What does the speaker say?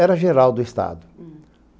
Era geral do estado. Hmm.